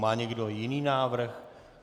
Má někdo jiný návrh?